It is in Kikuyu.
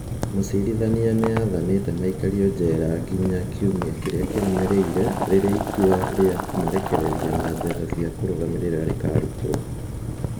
Mũcirithania nĩ aathanĩte maikarũo njera nginya kiumia kĩrĩa kĩrũmĩrĩire rĩrĩa itua rĩa kũmarekereria na mbeca cia kũrũgamĩrĩra rĩkaarutwo.